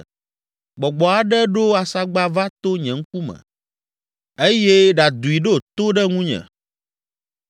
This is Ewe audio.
Gbɔgbɔ aɖe ɖo asagba va to nye ŋkume yi eye ɖadoe ɖo to ɖe ŋunye.